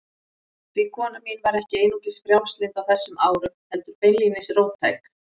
Því kona mín var ekki einungis frjálslynd á þessum árum, heldur beinlínis róttæk.